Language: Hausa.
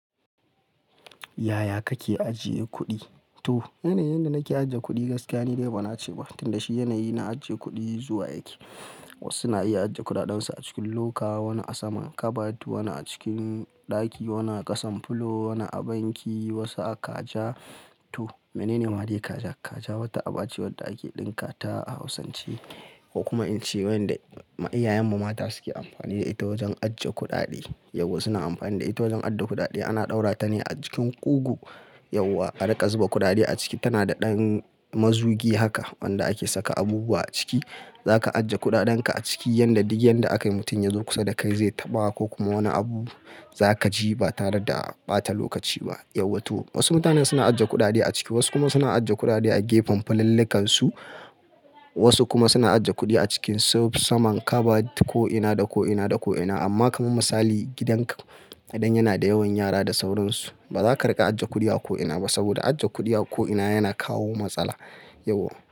Yaya kake ajiye kuɗi? To, yanayin da nake ajiye kuɗi gaskiya ni, dai ba na ce ba tunda shi yanayi na ajiye kuɗi zuwa yake. Wasu na iya ajiye kuɗaɗen su a cikin loka, wani a saman kabat, wani a cikin ɗaki, wani a ƙasan pulo, wani a banki, wasu a kaja. To, menene maɗe kaja? Kaja wata aba ce wadda ake ɗinka ta a hausance, ko kuma in ce wanda iyayen mu mata suke amfani da ita wajen ajiye kuɗaɗe. Yauwa suna amfani da ita wajen ajiye kuɗaɗe. Ana ɗaura ta ne a cikin ƙugu. Yauwa a riƙa zuba kuɗaɗe a ciki. Tana da ɗan mazugi haka wanda ake saka abubuwa a ciki. Zaka ajiye kuɗaɗan ka a ciki yadda duk yadda aka yi mutum ya zo kusa da kai zai taɓa ko kuma wani abu za ka ji ba tare da a ɓata lokaci ba. Yauwa to wasu mutane suna ajiye kuɗaɗe a ciki, wasu kuma suna ajiye kuɗaɗe a gepan pulallikan su, wasu kuma suna ajiye kuɗi a cikin saman kabat ko'ina da ko'ina da ko'ina. Amma kaman misali gidan ka idan yana da yawan yara da sauransu ba za ka riƙa ajiye kuɗi a ko'ina ba saboda ajiye kuɗi a ko'ina yana kawo matsala. Yauwa.